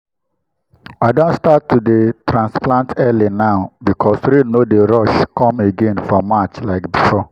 i don start to dey transplant early now because rain no dey rush come again for march like before.